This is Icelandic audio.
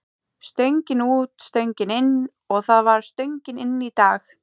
Stöngin út, stöngin inn og það var stöngin inn í dag.